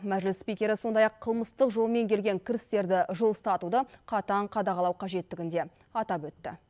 мәжіліс спикері сондай ақ қылмыстық жолмен келген кірістерді жылыстатуды қатаң қадағалау қажеттігін де атап өтті